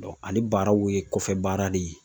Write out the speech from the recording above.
ale baaraw ye kɔfɛ baara de ye